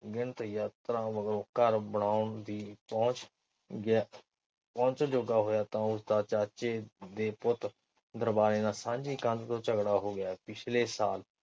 ਅਣਗਿਣਤ ਜਾਤਰਾਵਾਂ ਮਗਰੋਂ ਘਰ ਬਣਾਓਣ ਦੀ ਪੁਹੰਚ ਪਹੁਚ ਜੋਗਾ ਹੋਇਆ ਤਾ ਉਸਦਾ ਚਾਚੇ ਦੇ ਪੁੱਤ ਦਰਬਾਰੇ ਨਾਲ ਸਾਂਝੀ ਕੰਧ ਤੋਂ ਝਗੜਾ ਹੋ ਗਿਆ। ਪਿੱਛਲੇ ਸਾਲ